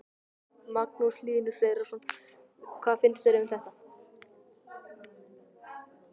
Magnús Hlynur Hreiðarsson: Hvað finnst þér um þetta?